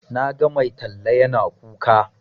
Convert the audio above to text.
Na ga mai talla yana kuka.